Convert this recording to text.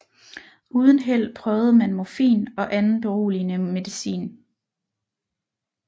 Uden held prøvede man morfin og anden beroligende medicin